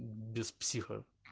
без психов